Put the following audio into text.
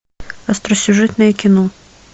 остросюжетное кино